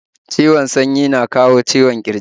Ciwon sanyi na kawo ciwon ƙirji